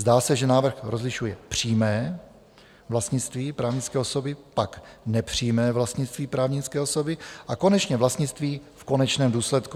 Zdá se, že návrh rozlišuje přímé vlastnictví právnické osoby, pak nepřímé vlastnictví právnické osoby a konečně vlastnictví v konečném důsledku.